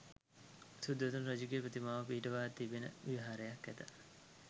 සුද්ධෝදන රජුගේ ප්‍රතිමාව පිහිටුවා තිබෙන විහාරයක් ඇත.